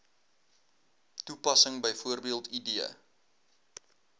toepassing bv id